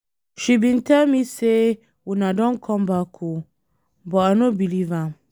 She bin tell me say una don come back oo, but I no believe am.